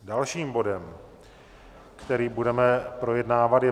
Dalším bodem, který budeme projednávat, je